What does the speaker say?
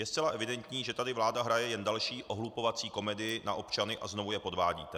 Je zcela evidentní, že tady vláda hraje jen další ohlupovací komedii na občany a znovu je podvádíte.